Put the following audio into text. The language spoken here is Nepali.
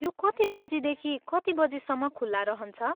यो कति बजीदेखि कति बजीसम्म खुला रहन्छ?